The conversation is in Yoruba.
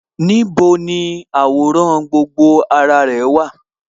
Níbo ni àwòrán gbogbo ara rẹ̀ wà?